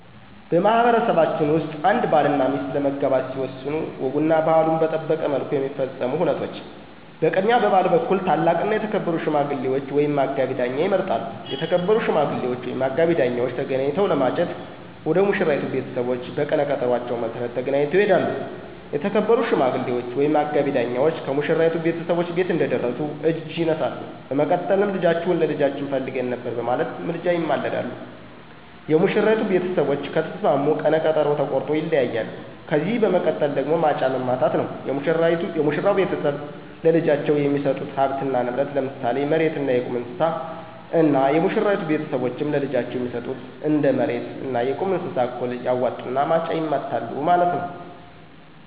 በማህበረሰባችን ውስጥ አንድ ባልና ሚስት ለመጋባት ሲወስኑ ወጉና ባህሉን በጠበቀ መልኩ የሚፈጸሙ ሁነቶች፦ በቅድሚያ በባል በኩል ታላቅና የተከበሩ ሽማግሌ ወይም አጋቢ ዳኛ ይመረጣሉ። የተከበሩ ሽማግሌወች ወይም አጋቢ ዳኛወች ተገናኝተው ለማጨት ወደ ሙሽራይቱ ቤተሰቦች በቀነ ቀጠኖአቸው መሰረት ተገናኝተው ይሄዳሉ። የተከበሩ ሽማግሌወች ወይም አጋቢ ዳኛወች ከሙሽራይቱ ቤተሰቦች ቤት እንደደረሱ እጅ ይነሳሉ። በመቀጠልም ልጃችሁን ለልጃችን ፈልገን ነበር በማለት ምልጃ ይማለዳሉ። የሙሽራይቱ ቤተሰቦች ከተስማሙ ቀነ ቀጠኖ ተቆርጦ ይለያያሉ። ከዚህ በመቀጠል ደግሞ ማጫ መማታት ነዉ፤ የሙሽራው ቤተሰብ ለልጃቸው የሚሰጡት ሀብትና ንብረት ለምሳሌ መሬት አና የቁም እንስሳት እና የሙሽራይቱ ቤተሰቦችም ለልጃቸው የሚሰጡ እንደ መሬት አና የቁም እንስሳት እኩል ያዋጡና ማጫ ይማታሉ ማለት ነዉ።